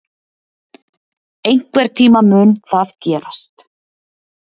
Einhvern tíma mun það gerast.